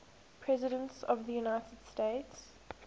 presidents of the united states